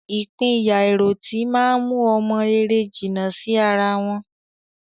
Ìpínyà àìròtì má ń mú ọmọ rere jìnnà sí ara wọn